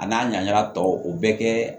A n'a ɲaŋa tɔ o bɛɛ kɛ